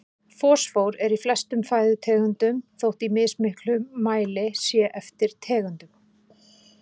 Fosfór er í flestum fæðutegundum þótt í mismiklum mæli sé eftir tegundum.